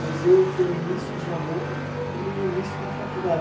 Mas eu foi o início de namoro e eu e o início da faculdade.